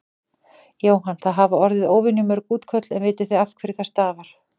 Jóhann: Það hafa orði óvenju mörg útköll en vitið þið af hverju það stafar?